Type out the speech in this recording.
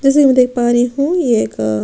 जैसे की मैं देख पा रही हूँ ये का--